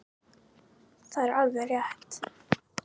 Það var alveg rétt.